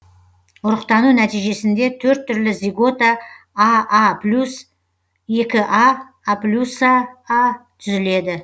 ұрықтану нәтижесінде төрт түрлі зигота ааплюс екі ааплюсаа түзіледі